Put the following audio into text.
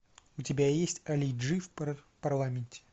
у тебя есть али джи в парламенте